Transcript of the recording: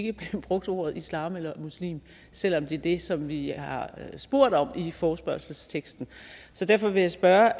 ikke blev brugt ordet islam eller muslim selv om det er det som vi har spurgt om i forespørgselsteksten derfor vil jeg spørge